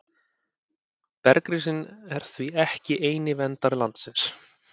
Bergrisinn er því ekki eini verndari landsins.